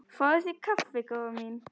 Fáðu þér kaffi góða mín.